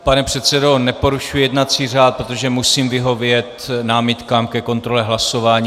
Pane předsedo, neporušuji jednací řád, protože musím vyhovět námitkám ke kontrole hlasování.